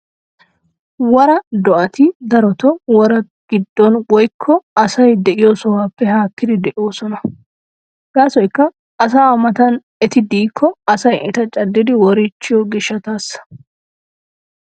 Woraa do'ati darotoo woraa giddon wiykko asay de'iyo sohuwappe haakkidi de'oosona? Gaasoykka asaa matan. eti de'ikko asay eta caddidi woriichchiyo gishshataassia.